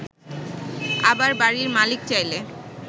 আবার বাড়ির মালিক চাইলে